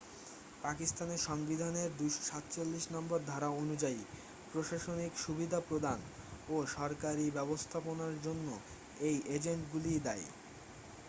পাকিস্তানের সংবিধানের 247 নম্বর ধরা অনুযায়ী প্রশাসনিক সুবিধা প্রদান ও সরকারি ব্যবস্থাপনার জন্য এই এজেন্টগুলিই দায়ী